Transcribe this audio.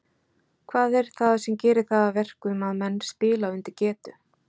Hvað er það sem gerir það að verkum að menn spila undir getu?